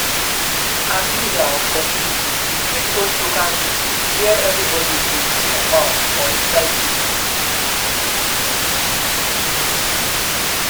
as leader of community you fit host local meeting where everybody go chook mouth for inside di issue